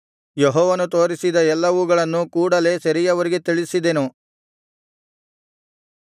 ಯೆಹೋವನು ತೋರಿಸಿದ ಎಲ್ಲವುಗಳನ್ನು ಕೂಡಲೆ ಸೆರೆಯವರಿಗೆ ತಿಳಿಸಿದೆನು